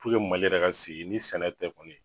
Mali yɛrɛ ka sigi ni sɛnɛ tɛ kɔni